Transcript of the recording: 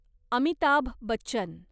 Amitabh Bachchan